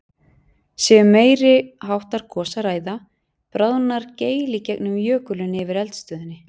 Sé um meiri háttar gos að ræða, bráðnar geil í gegnum jökulinn yfir eldstöðinni.